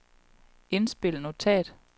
indspil notat